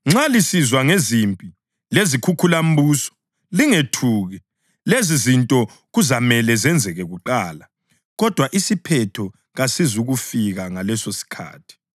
Nxa lisizwa ngezimpi lezikhukhulambuso, lingethuki. Lezizinto kuzamele zenzeke kuqala, kodwa isiphetho kasizukufika ngalesosikhathi.”